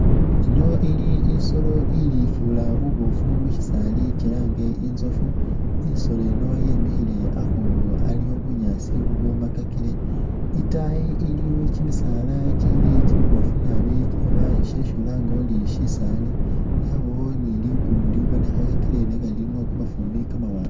Ino ili isoolo ifura bubofu mushisaali kyilange intsofu isoolo yi yemile akhuunu esi bunyaasi bwomakakile itaayi iliyo kyimisaala kyili kyimibofu naabi oba shesi ulanga ori shisaali yabawo ni ligulu libonekhakile nenga lilimo kamafumbi kamawanga